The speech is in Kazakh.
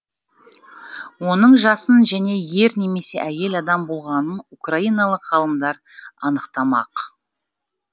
оның жасын және ер немесе әйел адам болғанын украиналық ғалымдар анықтамақ